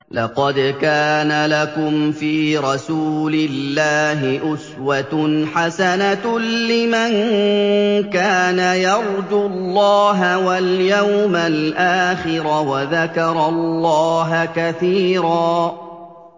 لَّقَدْ كَانَ لَكُمْ فِي رَسُولِ اللَّهِ أُسْوَةٌ حَسَنَةٌ لِّمَن كَانَ يَرْجُو اللَّهَ وَالْيَوْمَ الْآخِرَ وَذَكَرَ اللَّهَ كَثِيرًا